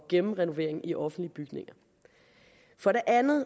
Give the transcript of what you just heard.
gennemrenovering i offentlige bygninger for det andet